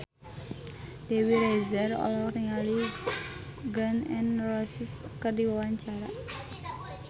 Dewi Rezer olohok ningali Gun N Roses keur diwawancara